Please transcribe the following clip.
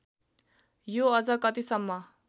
यो अझ कतिसम्म